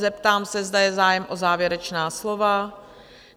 Zeptám se, zda je zájem o závěrečná slova?